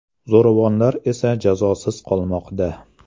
Zo‘ravonlar esa jazosiz qolmoqda”.